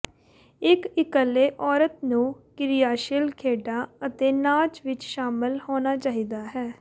ਇੱਕ ਇਕੱਲੇ ਔਰਤ ਨੂੰ ਕਿਰਿਆਸ਼ੀਲ ਖੇਡਾਂ ਅਤੇ ਨਾਚ ਵਿੱਚ ਸ਼ਾਮਲ ਹੋਣਾ ਚਾਹੀਦਾ ਹੈ